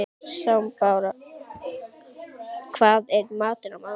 Snæbrá, hvað er í matinn á mánudaginn?